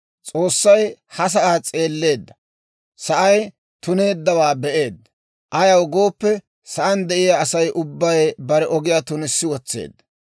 S'oossay ha sa'aa s'eelleedda; sa'ay tuneeddawaa be'eedda; ayaw gooppe, sa'aan de'iyaa Asay ubbay bare ogiyaa tunissi wotseedda.